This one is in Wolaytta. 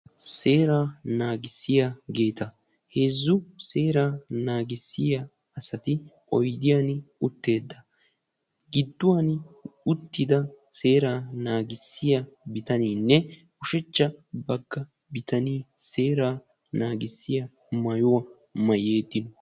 Seeraa naagissiyaageta. heezzu seeraa naagissiyaageti oydiyaan uttetta. gidduwaan uttida seeraa naagissiyaa bitaneenne ushshachcha bagga bitanee seeraa nagissiyaa maayuwaa maayidi